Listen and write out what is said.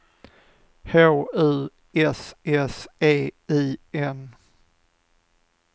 H U S S E I N